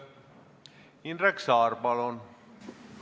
Indrek Saar, palun!